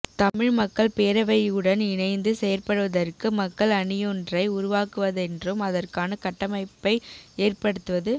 தமிழ் மக்கள் பேரவையுடன் இணைந்து செயற்படுவதற்கு மக்கள் அணியொன்றை உருவாக்குவதென்றும் அதற்கான கட்டமைப்பை ஏற்படுத்துவது